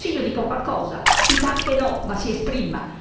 Il Consiglio dica qualcosa, dica anche no, ma si esprima!